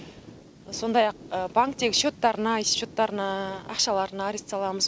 сондай ақ банктегі счеттарына есеп счеттарына ақшаларына арест саламыз